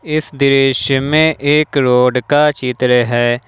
इस दृश्य में एक रोड का चित्र है।